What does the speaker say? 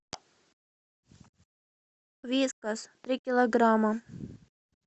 вискас три килограмма